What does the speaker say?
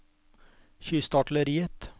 kystartilleriet